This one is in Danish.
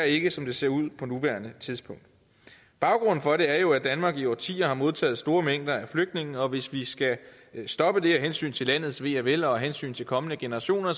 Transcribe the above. ikke som det ser ud på nuværende tidspunkt baggrunden for det er jo at danmark i årtier har modtaget store mængder af flygtninge og hvis vi skal stoppe det af hensyn til landets ve og vel og af hensyn til kommende generationer